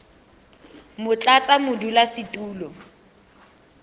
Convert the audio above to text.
motlatsamodulasetulo